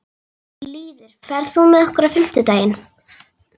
Lýður, ferð þú með okkur á fimmtudaginn?